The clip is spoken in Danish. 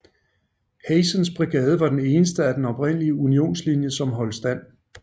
Hazens brigade var den eneste del af den oprindelige Unionslinje som holdt stand